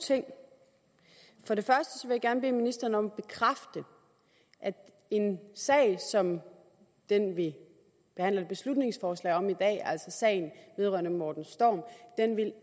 ting for det første vil jeg gerne bede ministeren om at bekræfte at en sag som den vi behandler et beslutningsforslag om i dag altså sagen vedrørende morten storm